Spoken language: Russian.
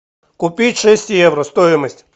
купить шесть евро стоимость